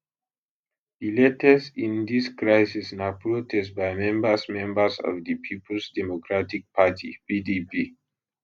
di latest in dis crisis na protest by members members of di peoples democratic party pdp